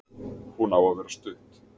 Hún á að vera stutt.